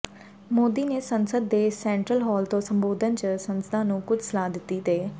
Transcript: ਮੋਦੀ ਨੇ ਸੰਸਦ ਦੇ ਸੇੰਟ੍ਰਲ ਹਾਲ ਤੋਂ ਸੰਬੋਧਨ ਚ ਸੰਸਦਾਂ ਨੂੰ ਕੁੱਝ ਸਲਾਹ ਦਿੱਤੀ ਤੇ